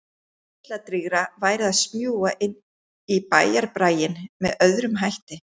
Heilladrýgra væri að smjúga inn í bæjarbraginn með öðrum hætti.